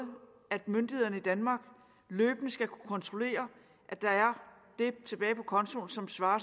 at myndighederne i danmark løbende skal kunne kontrollere at der er det tilbage på kontoen som svarer